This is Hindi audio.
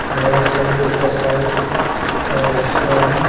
यहाँ एक समुन्द्र का साइट का हिस्सा है।